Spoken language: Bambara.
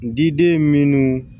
N diden minnu